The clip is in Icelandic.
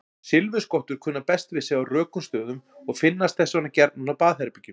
Silfurskottur kunna best við sig á rökum stöðum og finnast þess vegna gjarnan á baðherbergjum.